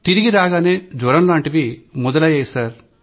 తిరిగి రాగానే జ్వరంలాంటివి మొదలయ్యాయి సార్